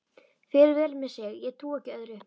Fer vel með sig, ég trúi ekki öðru.